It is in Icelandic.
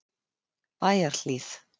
Bæjarhlíð